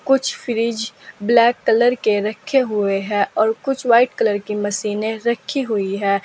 कुछ fridge black colour के रखे हुए हैं और कुछ व्हाइट कलर की मशीने रखी हुई है।